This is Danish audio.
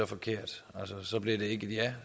forkert og så bliver det ikke et ja